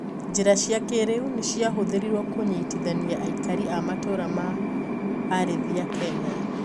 Njira cia kiriu nicirahũthirwo kũnyitithania aikari a matũra ma arĩithia Kenya.